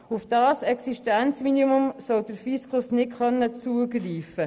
Auf dieses Existenzminimum soll der Fiskus nicht zugreifen können.